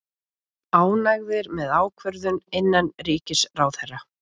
Ánægðir með ákvörðun innanríkisráðherra